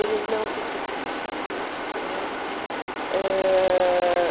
Ele não se suicidou, né? Ãh...